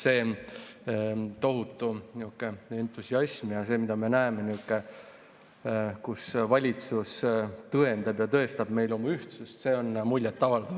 See tohutu entusiasm ja see, mida me näeme, kuidas valitsus tõendab ja tõestab meile oma ühtsust, on muljetavaldav.